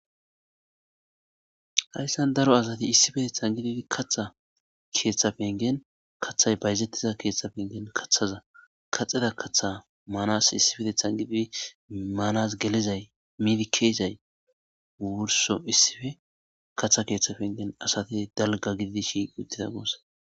Hayissan daro asati issippeteththan gididi kaththa keththa penigenni kaththayi bayizetiza keththa penigenni kaththaza kaaxida kaththa issippeteththanni gididi Manas gelizayi midi ke'izayi wursso issippe kaththa penigenni asati daliga gididi shiqi uttida gussa.